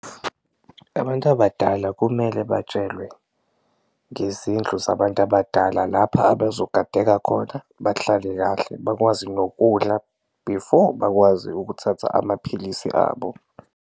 Abantu abadala kumele batshelwe ngezindlu zabantu abadala lapha abazogadeka khona, bahlale kahle, bakwazi nokudla before bakwazi ukuthatha amaphilisi abo.